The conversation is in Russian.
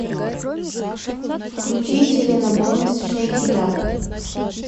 включи селена гомез шейк ит ап